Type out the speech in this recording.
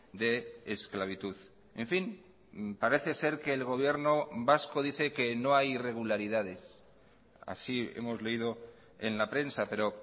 de esclavitud en fin parece ser que el gobierno vasco dice que no hay irregularidades así hemos leído en la prensa pero